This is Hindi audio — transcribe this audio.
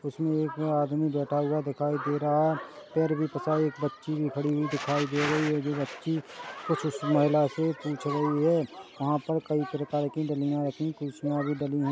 उसमे एक आदमी बैठा हुआ दिखाई दे रहा हैं पैर भी पसारे एक बच्ची भी खड़ी हुई दिखाई दे रही है जो बच्ची कुछ उस महिला से पूछ रही है वहाँ पर कई प्रकार की ररखी खुर्सिया भी बनी--